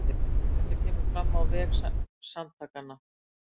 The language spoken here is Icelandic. Þetta kemur fram á vef samtakanna